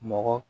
Mɔgɔ